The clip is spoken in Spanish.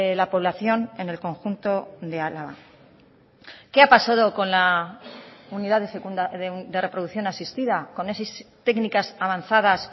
la población en el conjunto de álava qué ha pasado con la unidad de reproducción asistida con esas técnicas avanzadas